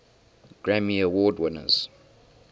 grammy award winners